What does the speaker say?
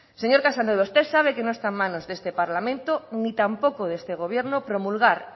señor casanova usted sabe que no está en manos de este parlamento ni tampoco de este gobierno promulgar